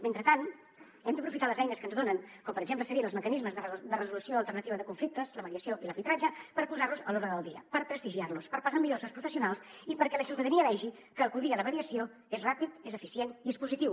mentrestant hem d’aprofitar les eines que ens donen com per exemple serien els mecanismes de resolució alternativa de conflictes la mediació i l’arbitratge per posar los a l’ordre del dia per prestigiar los per pagar millor als seus professionals i perquè la ciutadania vegi que acudir a la mediació és ràpid és eficient i és positiu